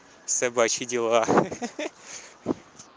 собачьи дела ха-ха